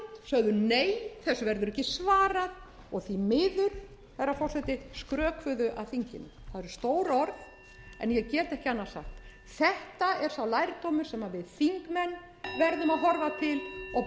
sögðu nei þessu verður ekki svarað og því miður herra forseti skrökvuðu að þinginu það eru stór orð en ég get ekki annað sagt þetta er sá lærdómur sem við þingmenn verðum að horfa til og